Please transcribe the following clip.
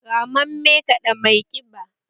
Ramammen kada mai kiba